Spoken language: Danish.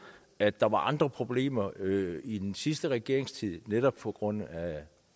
at der var andre problemer i i den sidste regerings tid netop på grund af at